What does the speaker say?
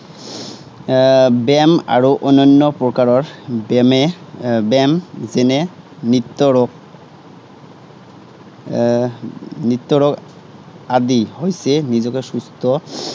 এৰ ব্য়ায়াম আৰু অন্যান্য প্ৰকাৰৰ ব্য়ায়ামে, এৰ ব্য়ায়াম যেনে, নিত্য় ৰোগ এৰ নিত্য়ৰোগ, নিত্য়ৰোগ আদি হৈছে নিজকে সুস্থ